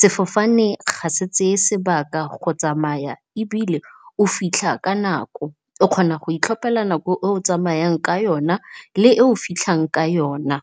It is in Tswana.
Sefofane ga se tseye sebaka go tsamaya ebile o fitlha ka nako, o kgona go itlhophela nako e o tsamayang ka yona le e o fitlhang ka yona.